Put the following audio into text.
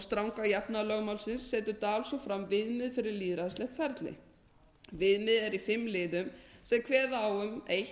stranga jafnaðarlögmálsins setur dahl svo fram viðmið fyrir lýðræðislegt ferli viðmiðið er í fimm liðum sem kveða á um